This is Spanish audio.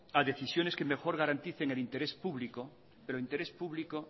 a decisiones que mejor garanticen el interés público pero el interés público